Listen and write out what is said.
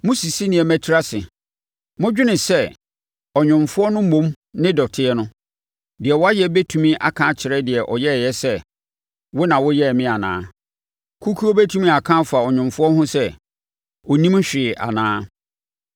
Mosisi nneɛma tiri ase. Modwene sɛ ɔnwomfoɔ no mmom ne dɔteɛ no! Deɛ wayɛ bɛtumi aka akyerɛ deɛ ɔyɛeɛ sɛ, “Wo na woyɛɛ me anaa”? Kukuo bɛtumi aka afa ɔnwomfoɔ ho sɛ “Ɔnnim hwee anaa”?